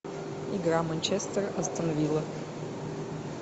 игра манчестер астон вилла